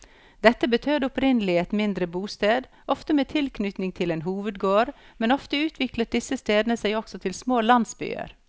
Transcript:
Dette betød opprinnelig et mindre bosted, ofte med tilknytning til en hovedgård, men ofte utviklet disse stedene seg også til små landsbyer.